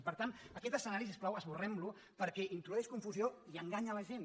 i per tant aquest escenari si us plau esborrem lo perquè introdueix confusió i enganya la gent